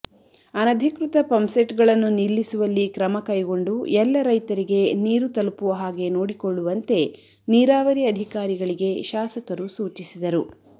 ಅನಧಿಕೃತ ಪಂಪಸೆಟ್ಗಳನ್ನು ನಿಲ್ಲಿಸುವಲ್ಲಿ ಕ್ರಮ ಕೈಗೊಂಡು ಎಲ್ಲ ರೈತರಿಗೆ ನೀರು ತಲುಪುವ ಹಾಗೆ ನೋಡಿಕೊಳ್ಳುವಂತೆ ನೀರಾವರಿ ಅಧಿಕಾರಿಗಳಿಗೆ ಶಾಸಕರು ಸೂಚಿಸಿದರು